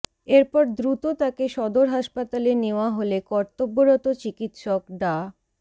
এরপর দ্রুত তাকে সদর হাসপাতালে নেওয়া হলে কর্তব্যরত চিকিৎসক ডা